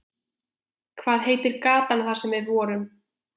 Hvað heitir gatan þar sem við vorum?